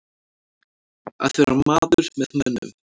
Að vera maður með mönnum